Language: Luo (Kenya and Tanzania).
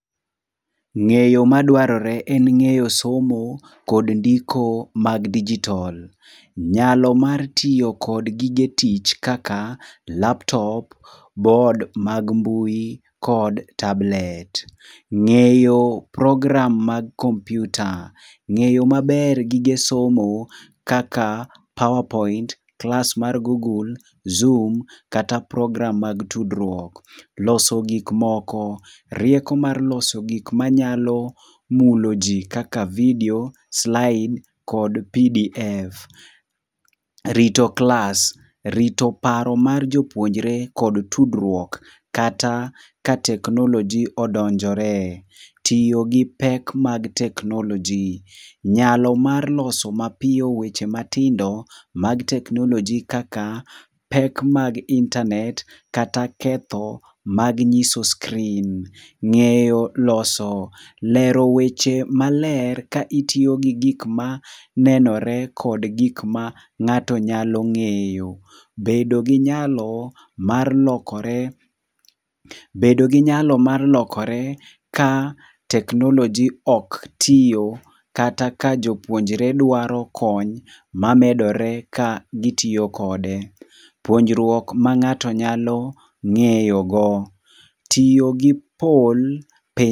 Ngéyo madwarore en ngéyo somo kod ndiko mag digital. Nyalo mar tiyo kod gige tich kaka laptop, board mag mbui kod, tablet. Ngéyo program mag computer. Ngéyo maber gige somo kaka powerpoint, class mar Google, Zoom, kata program mag tudruok. Loso gik moko. Rieko mar loso gik ma nyalo mulo ji kaka video, slides kod PDF. Rito class. Rito paro mar jopuonjore kod tudruok kata ka technology odonjore. Tiyo gi pek mag technology. Nyalo mar loso mapiyo weche matindo mag technology kaka, pek mag internet kata ketho mag nyiso screen. Ngéyo loso, lero weche maler ka itiyo gi gik manenore, kod gik ma ngáto nyalo ngéyo. Bedo gi nyalo mar lokore bedo gi nyalo mar lokore ka technology ok tiyo, kata ka jopuonjore dwaro kony mamedore ka gitiyo kode. Puonjruok ma ngáto nyalo ngéyogo. Tiyo gi.